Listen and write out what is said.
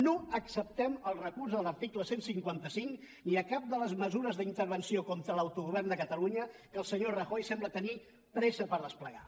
no acceptem el recurs a l’article cent i cinquanta cinc ni a cap de les mesures d’intervenció contra l’autogovern de catalunya que el senyor rajoy sembla tenir pressa per desplegar